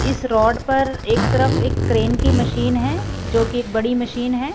इस रोड पर एक तरफ एक क्रेन की मशीन है जो की एक बड़ी मशीन है।